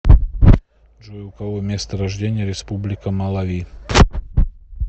джой у кого место рождения республика малави